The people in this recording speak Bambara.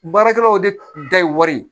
Baarakɛlaw de da ye wari ye